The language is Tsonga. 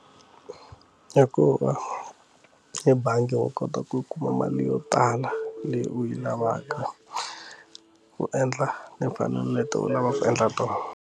Hikuva ebangi wa kota ku yi kuma mali yo tala leyi u yi lavaka u endla ni fanele ni leti u lava ku endla tona.